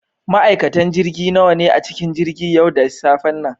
Ma'aikatan jirgi nawa ne a cikin jirgin yau da safen nan?